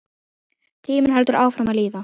Tíminn heldur áfram að líða.